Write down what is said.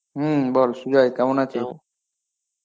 হম বল সুজয় কেমন আছিস?